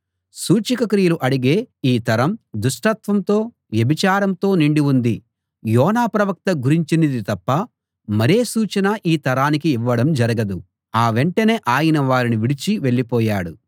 సూచక క్రియలు అడిగే ఈ తరం దుష్టత్వంతో వ్యభిచారంతో నిండి ఉంది యోనా ప్రవక్త గురించినది తప్ప మరే సూచనా ఈ తరానికి ఇవ్వడం జరగదు ఆ వెంటనే ఆయన వారిని విడిచి వెళ్ళిపోయాడు